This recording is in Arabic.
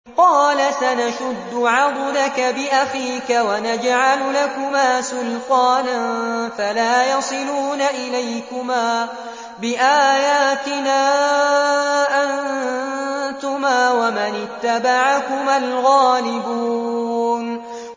قَالَ سَنَشُدُّ عَضُدَكَ بِأَخِيكَ وَنَجْعَلُ لَكُمَا سُلْطَانًا فَلَا يَصِلُونَ إِلَيْكُمَا ۚ بِآيَاتِنَا أَنتُمَا وَمَنِ اتَّبَعَكُمَا الْغَالِبُونَ